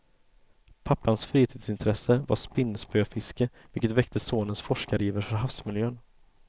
Pappans fritidsintresse var spinnspöfiske, vilket väckte sonens forskariver för havsmiljön.